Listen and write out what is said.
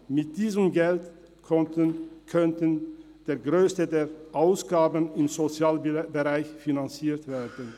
Mit diesem Geld könnte der grösste Teil der Ausgaben im Sozialbereich finanziert werden.